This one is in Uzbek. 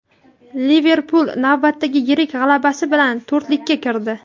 "Liverpul" navbatdagi yirik g‘alabasi bilan to‘rtlikka kirdi.